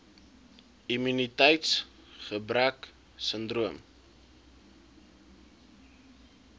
immuniteits gebrek sindroom